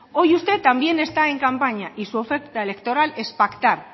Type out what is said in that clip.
hoy usted también está en campaña y su oferta electoral es pactar